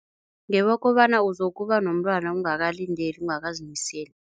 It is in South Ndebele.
Ngewokobana uzokuba nomntwana ungakalindeli, ungakazimiseli.